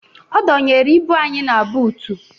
Ọ dọnyere ibu anyị na buutu